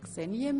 – Nein.